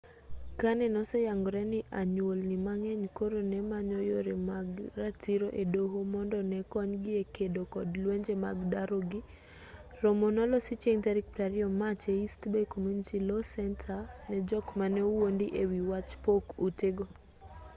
kane noseyangore ni anyuolni mang'eny koro ne manyo yore mag ratiro e doho mondo ne konygi e kedo kod lwenje mag daro gi romo nolosi chieng' tarik 20 mach e east bay community law center ne jok mane owuondi e wi wach pok ute go